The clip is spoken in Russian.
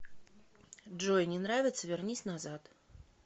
джой не нравится вернись назад